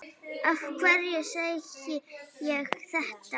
Af hverju segi ég þetta?